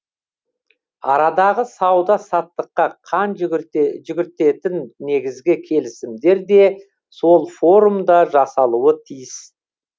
арадағы сауда саттыққа қан жүгіртетін негізгі келісімдер де сол форумда жасалуы тиіс